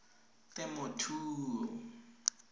temothuo